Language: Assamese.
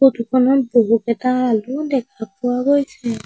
ফটো খনত বহুকেইটা আলুও দেখা পোৱা গৈছে।